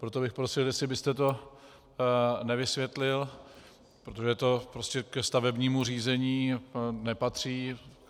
Proto bych prosil, jestli byste to nevysvětlil, protože to prostě ke stavebnímu řízení nepatří.